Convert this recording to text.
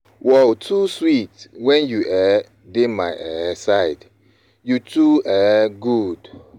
World too sweet when you um dey my um side, you too um good.